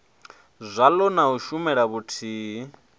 zwaḽo na u shumela vhuthihi